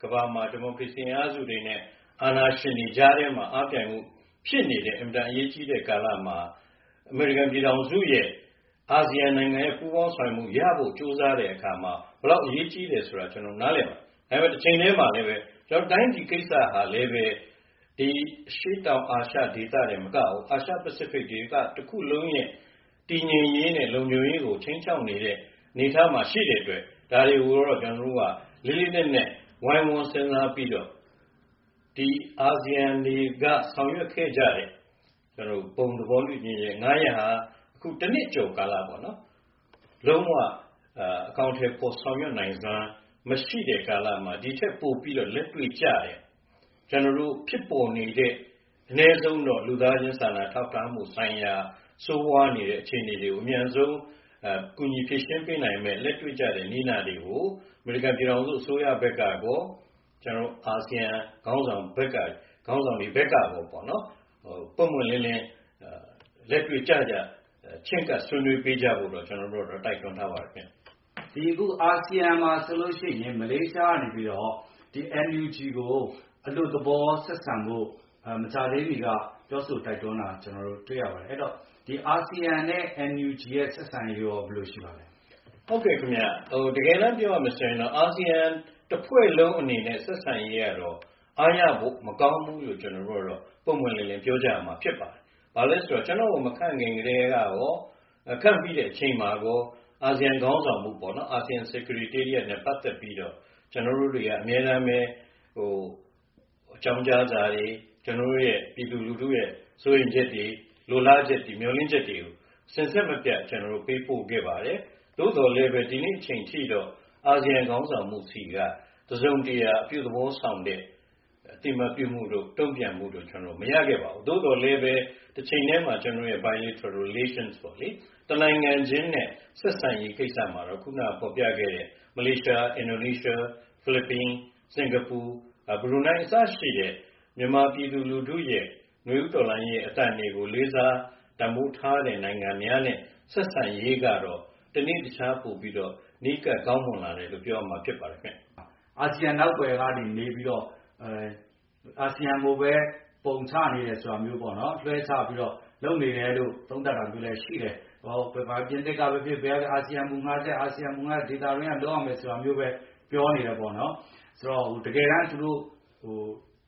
ကမ္ဘာမှာ ဒီမိုကရေစီအင်အားစုတွေနဲ့ အာဏာရှင်တွေကြားထဲမှာ အားပြိုင်မှုဖြစ်နေတဲ့ အင်မတန်အရေးကြီးတဲ့ကာလမှာ အမေရိကန်ပြည်ထောင်စုရဲ့ အာဆီယံရဲ့ပူးပေါင်းဆောင်ရွက်မှုရဖို့ ကြိုးစားတဲ့အခါမှာ ဘယ်လောက်အရေးကြီးလဲဆိုတာ ကျနော်တို့နားလည်ပါတယ်။ ဒါပေမယ့် တချိန်တည်းမှာလည်းပဲ တိုင်းပြည်ကိစ္စဟာလည်းပဲ အရှေ့တောင်အာရှဒေသတင်မကဘူး၊ အာရှ-ပစိဖိတ်ဒေသတခုလုံးရဲ့ တည်ငြိမ်ရေးနဲ့လုံခြုံရေးကို ခြိမ်းခြောက်နေတဲ့ အနေအထားမှာရှိတဲ့အတွက် ဒါတွေကိုတော့ ကျနော်တို့က လေးလေးနက်နက် ဝိုင်းဝန်းစဉ်းစားပြီးတော့ ဒီ အာဆီယံတွေက ဆောင်ရွက်ခဲ့ကြတဲ့ ဘုံသဘောတူညီချက် ၅ ရပ်ဟာ အခု တနှစ်ကျော်ကာလမှာ လုံးဝ အကောင်အထည်ဖော် ဆောင်ရွက်နိုင်စွမ်း မရှိတဲ့ကာလမှာ ဒိထက်ပိုပြီးလက်တွေ့ကျတဲ့ ဖြစ်ပေါ်နေတဲ့ အနည်းဆုံးတော့ လူသားချင်းစာနာထောက်ထားမှုဆိုင်ရာ ဆိုးဝါးနေတဲ့အခြေအနေတွေကို အမြန်ဆုံး ကူညီဖြေရှင်းပေးနိုင်မယ့်၊ လက်တွေ့ကျတဲ့ နည်းနာတွေကို အမေရိကန်ပြည်ထောင်စု အစိုးရဘက်ကကော၊ အာဆီယံခေါင်းဆောင်ဘက်ကကောပေါ့နော်-ပွင့်ပွင့်လင်းလင်း လက်တွေ့ကျကျ ချဉ်းကပ်ဆွေးနွေးပေးကြဖို့တော့ ကျနော်တို့ကတော့ တိုက်တွန်းထားပါတယ်ခင်ဗျ။ အခု အာဆီယံမှာဆိုလို့ရှိရင် မလေးရှားကနေပြီးတော့ NUG ကိုအလွတ်သဘောဆက်ဆံဖို့ မကြာသေးမီက ပြောဆိုတိုက်တွန်းတာ တွေ့ရပါတယ်။ အဲဒီတော့ အာဆီယံနဲ့ NUG ဆက်ဆံရေးရော ဘယ်လိုရှိပါသလဲ။ ဟုတ်ကဲ့ခင်ဗျ။ တကယ်တန်းပြောရမယ်ဆိုရင်တော့ အာဆီယံတဖွဲ့လုံးအနေနဲ့ဆက်ဆံရေးကတော့ အားရဖို့မကောင်းဘူးလို့ ကျနော်တို့ကတော့ ပွင့်ပွင့်လင်းလင်း ပြောကြရမှာဖြစ်ပါတယ်။ ဘာလို့လဲဆိုတော့ ကျနော့်ကို မခန့်ခင်ကတည်းကရော၊ ခန့်ပြီးတဲ့အချိန်မှာကော အာဆီယံခေါင်းဆောင်မှုနဲ့ပတ်သက်ပြီးတော့ ကျနော်တို့တွေက အမြဲတမ်းပဲ အကြောင်းကြားစာတွေ၊ ကျနော်တို့ပြည်သူလူထုရဲ့ စိုးရိမ်ချက်တွေ၊ လိုလားချက်တွေ၊ မျှော်လင့်ချက်တွေကို စဉ်ဆက်မပြတ် ကျနော်တို့ ပေးပို့ခဲ့ပါတယ်။ သို့သော်လည်းပဲ ဒီနေ့အချိန်အထိတော့ အာဆီယံခေါင်းဆောင်မှုဆီက တစုံတရာ အပြုသဘောဆောင်တဲ့ အသိအမှတ်ပြုမှုတို့၊ တုံ့ပြန်မှုတို့ ကျနော်တို့ မရခဲ့ပါဘူး။ သို့သော်လည်းပဲ တချိန်တည်းမှာ ကျနော်တို့ biliteral relation ပေါ့လေ၊ တနိုင်ငံချင်းနဲ့ဆက်ဆံရေးကိစ္စမှာတော့ ခုနကဖော်ပြခဲ့တဲ့ မလေးရှား၊ အင်ဒိုနီးရှား၊ ဖိလစ်ပိုင်၊ စင်ကာပူ၊ ဘရူနိုင်း အစရှိတဲ့ မြန်မာပြည်သူလူထုရဲ့ နွေဦးတော်လှန်ရေးအသံတွေကို လေးစား တန်ဖိုးထားတဲ့နိုင်ငံများနဲ့ ဆက်ဆံရေးကတော့ တနေ့တခြား ပိုပြီးတော့ နီးကပ်ကောင်းမွန်လာတယ်လို့ ပြောရမှာ ဖြစ်ပါတယ်ခင်ဗျ။ အာဆီယံနောက်ကွယ်ကနေ နေပြီးတော့ အာဆီယံကိုပဲ ပုံချနေတယ် ဆိုတာမျိုးပေါ့နော်-လွှဲချပြီးတော့ လုပ်နေတယ်လို့ သုံးသပ်တာမျိုးလည်းရှိတယ်။ ပြင်သစ်ကပဲဖြစ်ဖြစ်၊ ဘယ်ကပဲဖြစ်ဖြစ် အာဆီယံက ဒေသတွင်းက လုပ်ရမယ်ဆိုတာမျိုးပဲ ပြောနေတယ်ပေါ့နော်။ ဆိုတော့ တကယ်တန်း သူတို့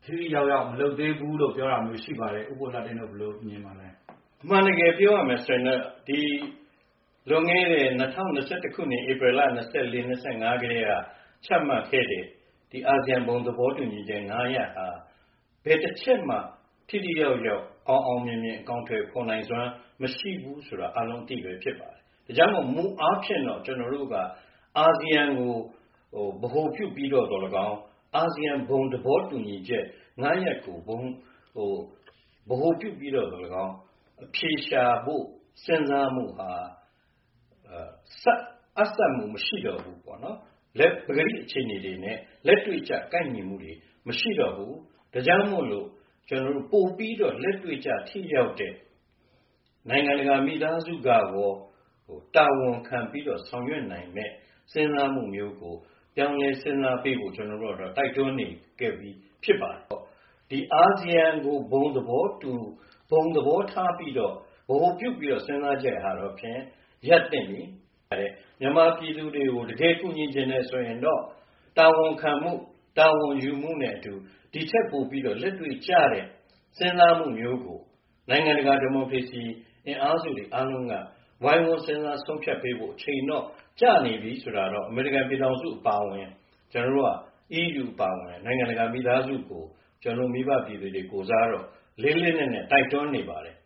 ထိထိရောက်ရောက် မလုပ်သေးဘူးလို့ ပြောတာမျိုး ရှိပါတယ်။ ဦးဘိုလှတင့်တို့ ဘယ်လိုမြင်ပါလဲ။ အမှန်တကယ်ပြောရမယ်ဆိုရင်တော့ လွန်ခဲ့တဲ့ ၂၀၂၁ ခုနှစ်၊ ဧပရယ်လ ၂၄-၂၅ ကတည်းက ချမှတ်ခဲ့တဲ့ အာဆီယံ ဘုံသဘောတူညီချက် ၅ ရပ်ဟာ ဘယ်တချက်မှ ထိထိရောက်ရောက် အောင်အောင်မြင်မြင် အကောင်အထည်ဖော်နိုင်စွမ်း မရှိဘူးဆိုတာ အားလုံးအသိပဲဖြစ်ပါတယ်။ ဒါကြောင့်မို့လို့ မူအားဖြင့်တော့ ကျနော်တို့က အာဆီယံကို ဗဟိုပြုပြီးတော့သော်လည်းကောင်း၊ အာဆီယံ ဘုံသဘောတူညီချက် ၅ ရပ်ကို ဗဟိုပြုပြီးတော့သော်လည်းကောင်း အဖြေရှာဖို့ စဉ်းစားမှုဟာ အပ်စပ်မှုမရှိတော့ဘူးပေါ့နော်။ ပကတိအခြေအနေနဲ့ လက်တွေ့ကျ ကိုက်ညီမှုတွေ မရှိတော့ဘူး၊ ဒါကြောင့်မို့လို့ ပိုပြီးတော့ လက်တွေ့ကျ ထိရောက်တဲ့ နိုင်ငံတကာမိသားစုကကော တာဝန်ခံပြီးတော့ဆောင်ရွက်နိုင်မယ့် စဉ်းစားမှုမျိုးကို ပြောင်းလဲစဉ်းစားပေးဖို့ ကျနော်တို့ကတော့ တိုက်တွန်းနေခဲ့ပြီး ဖြစ်ပါတယ်ပေါ့။ အာဆီယံကို ဘုံသဘောတူ၊ ဘုံသဘောထားပြီးတော့၊ ဗဟိုပြုပြီးတော့ စဉ်းစားချက်ဟာတော့ဖြင့် ရပ်သင့်ပြီ။ မြန်မာပြည်သူတွေကို တကယ်ကူညီချင်တယ်ဆိုရင်တော့ တာဝန်ခံမှု၊ တာဝန်ယူမှုနဲ့အတူ ဒိထက်ပိုပြီး လက်တွေ့ကျတဲ့စဉ်းစားမှုမျိုးကို နိုင်ငံတကာ ဒီမိုကရေစီအင်အားစုတွေအားလုံးက ဝိုင်းဝန်းစဉ်းစား ဆုံးဖြတ်ပေးဖို့အချိန်တော့ကျနေပြီဆိုတာကို အမေရိကန်ပြည်ထောင်စုအပါအဝင်၊ အီးယူအပါအဝင် နိုင်ငံတကာမိသားစုကို ကျနော်တို့မိဘပြည်သူတွေကိုယ်စားတော့ လေးလေးနက်နက် တိုက်တွန်းနေပါတယ်